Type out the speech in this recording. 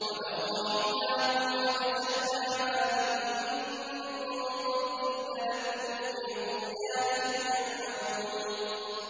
۞ وَلَوْ رَحِمْنَاهُمْ وَكَشَفْنَا مَا بِهِم مِّن ضُرٍّ لَّلَجُّوا فِي طُغْيَانِهِمْ يَعْمَهُونَ